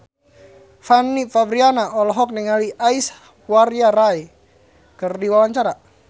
Fanny Fabriana olohok ningali Aishwarya Rai keur diwawancara